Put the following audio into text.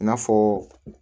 I n'a fɔ